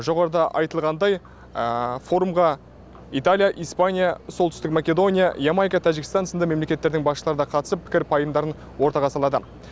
жоғарыда айтылғандай форумға италия испания солтүстік македония ямайка тәжікстан сынды мемлекеттердің басшылары да қатысып пікір пайымдарын ортаға салады